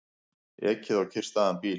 Ekið á kyrrstæðan bíl